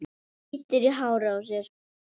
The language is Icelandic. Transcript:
Bítur í hárið á sér.